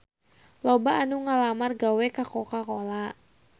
Loba anu ngalamar gawe ka Coca Cola